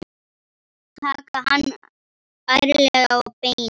Taka hann ærlega á beinið.